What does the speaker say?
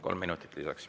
Kolm minutut lisaks.